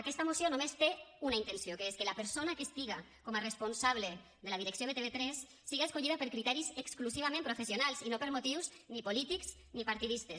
aquesta moció només té una intenció que és que la persona que estiga com a responsable de la direcció de tv3 siga escollida per criteris exclusivament professionals i no per motius ni polítics ni partidistes